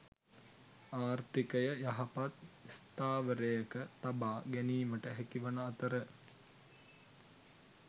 ආර්ථිකය යහපත් ස්ථාවරයක තබා ගැනීමට හැකිවන අතර